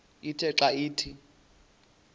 ithe xa ithi